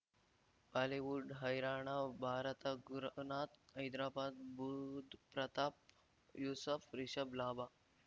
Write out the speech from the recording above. Bollywood ಹೈರಾಣ ಭಾರತ ಗುರುನಾಥ್ ಹೈದ್ರಾಬಾದ್ ಬುಧ್ ಪ್ರತಾಪ್ ಯೂಸಫ್ ರಿಷಬ್ ಲಾಭ